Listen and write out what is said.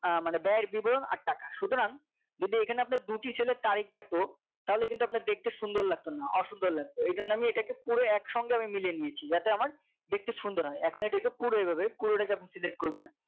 আহ মানে ব্যয় এর বিবরণ আর টাকা সুতরাং যদি এখানে আপনার দুটি cell এর তারিখ থাকতো তাহলে কিন্তু আপনার দেখতে সুন্দর লাগতোনা না অসুন্দর লাগবে এই জন্য এটাকে আমি পুরো এক সঙ্গে আমি মিলিয়ে নিয়েছি যাতে আমার দেখতে সুন্দর হয় এখন এটাকে পুরো এভাবে পুরোটাকে আপনি Select করবেন